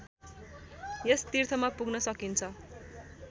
यस तीर्थमा पुग्न सकिन्छ